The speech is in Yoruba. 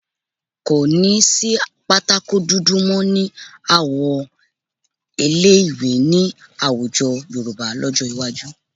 Kò ní sí pátákó dúdú mọ́ ní àwọn ilé-ìwé ní àwùjọ Yorùbá lọ́jọ́ iwájú